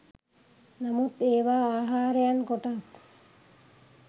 නමුත් ඒවා ආහාරයන් කොටස්